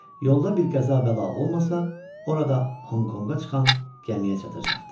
Yolda bir qəza-bəla olmasa, orada Honkonqda çıxan gəmiyə çatacaqdı.